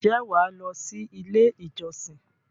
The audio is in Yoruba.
ǹjẹ́ wà á lọ sí “ ilé-ìjọsìn ”?